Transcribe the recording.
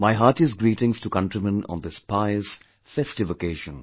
My heartiest greetings to countrymen on this pious, festive occasion